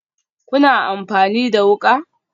Kuna amfani da wuka?